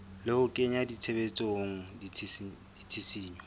le ho kenya tshebetsong ditshisinyo